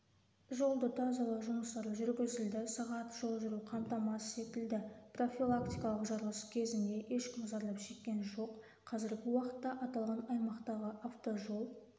жолды тазалау жұмыстары жүргізілді сағат жол жүру қамтамасыз етілді профилактикалық жарылыс кезінде ешкім зардап шеккен жоқ қазіргі уақытта аталған аймақтағы автожол